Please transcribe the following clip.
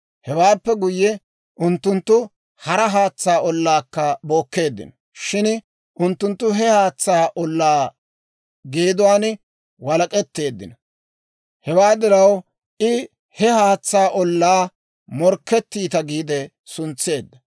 Hewaappe guyye, unttunttu hara haatsaa ollaakka bookkeeddino; shin unttunttu he haatsaa ollaa geeduwaan walak'etteeddino; hewaa diraw I he haatsaa ollaa «Morkketiitta» giide suntseedda.